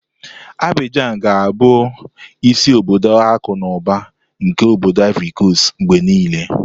Abijan ga-abụ isi obodo akụ na ụba nke obody Ivori Kostu mgbe niile.